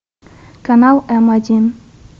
канал м один